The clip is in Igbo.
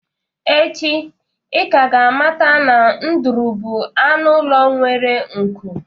Echi, ị ka ga-amata na ndụrụ bụ anụ ụlọ nwere nku